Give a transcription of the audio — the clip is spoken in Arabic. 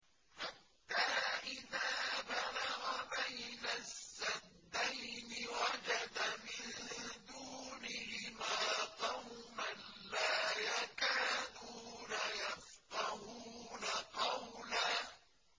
حَتَّىٰ إِذَا بَلَغَ بَيْنَ السَّدَّيْنِ وَجَدَ مِن دُونِهِمَا قَوْمًا لَّا يَكَادُونَ يَفْقَهُونَ قَوْلًا